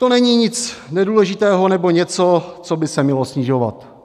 To není nic nedůležitého nebo něco, co by se mělo snižovat.